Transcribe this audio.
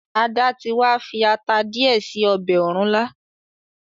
Ada tí wá fi atá diẹ sí ọbẹ òrúnlá.